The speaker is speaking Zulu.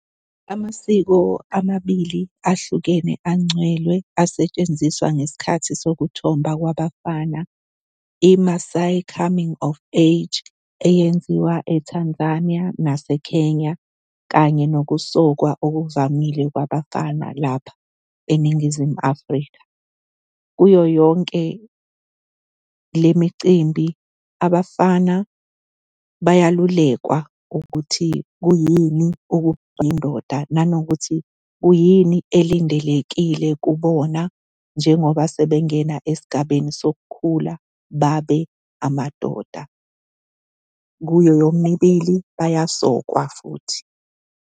Amasiko amabili ahlukene angcwele asetshenziswa ngesikhathi sokuthomba abafana i-Masai coming of age eyenziwa e-Tanzania naseKenya kanye ngobusokwa okuvamile kwabafana lapha eNingizimu Afrika. Kuyo yonke le micimbi abafana bayahlulekwa ukuthi kuyini ukuba yindoda, nanokuthi kuyini elindelekile kubona njengoba sebengena esigabeni sokukhula, babe amadoda. Kuyo yomibili bayasokwa futhi.